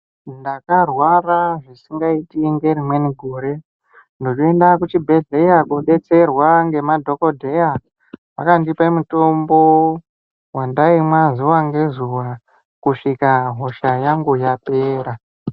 Ndakarwara zvisingaiti ngerimweni gore, ndochoenda kuchibhedhleya koodetserwa ngemadhokodhaya akandipa mitombo wandaimwa zuva ngezuva kusvika hosha yangu yapera.